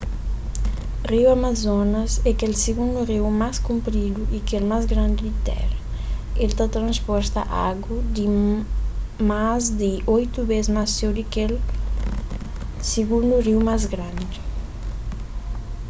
riu amazonas é kel sigundu riu más kunpridu y kel más grandi di téra el ta transporta agu más di 8 bês más txeu di ki kel sigundu riu más grandi